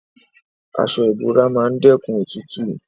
Aso ibora maa n dekun otutu